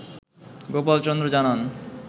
গোপাল চন্দ্র জানান